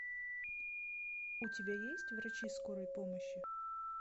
у тебя есть врачи скорой помощи